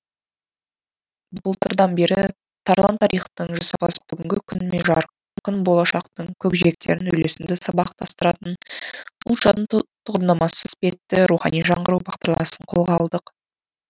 былтырдан бері тарлан тарихтың жасампаз бүгінгі күн мен жарқын болашақтың көкжиектерін үйлесімді сабақтастыратын ұлт жадының тұғырнамасы іспетті рухани жаңғыру бағдарламасын қолға алдық